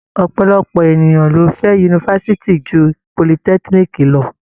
Ọ̀pọ̀lọpọ̀ ènìyàn ló fẹ́ yunifásitì ju politẹ́kíníìkì lọ.